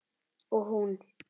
Og hún.